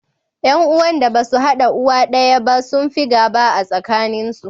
Ƴan uwan da ba su haɗa uwa daya ba sun fi gaba a tsakaninsu.